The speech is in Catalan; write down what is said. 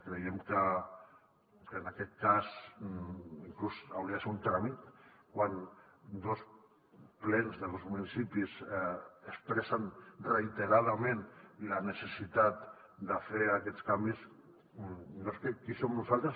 creiem que en aquest cas inclús hauria de ser un tràmit quan dos plens de dos municipis expressen reiteradament la necessitat de fer aquests canvis no és qui som nosaltres